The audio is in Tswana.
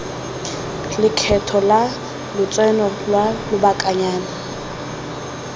lekgetho la lotseno lwa lobakanyana